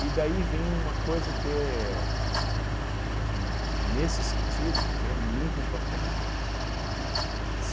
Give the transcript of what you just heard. E daí vem uma coisa que é, que n nesse sentido, que é muito importante.